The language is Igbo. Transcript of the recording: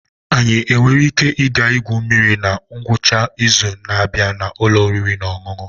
Anyị nwere ike ịga igwu mmiri na ngwụcha izu na-abịa na ụlọ oriri na ọṅụṅụ?